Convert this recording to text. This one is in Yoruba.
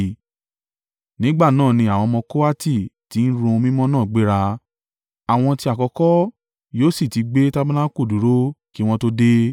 Nígbà náà ni àwọn ọmọ Kohati tí ń ru ohun mímọ́ náà gbéra. Àwọn ti àkọ́kọ́ yóò sì ti gbé tabanaku dúró kí wọn tó dé.